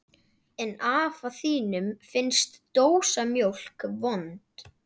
En afa þínum finnst dósamjólk vond.